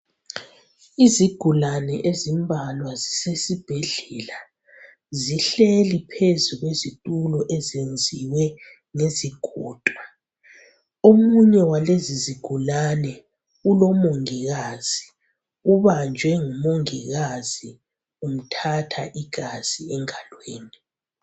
Izigulane ezimbalwa zisesibhedlela zihleli phezu kwezitulo ezenziwe ngezigodo omunye walezi izigulani ulomongikazi ubanjwe ngumongikazi unthatha igazi engalweni